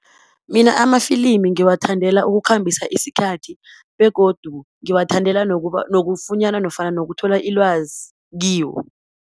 Mina amafilimi ngiwathandela ukukhambisa isikhathi, begodu ngiwathandela nokufunyana nofana nokuthola ilwazi kiwo.